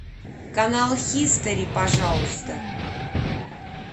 канал хистори пожалуйста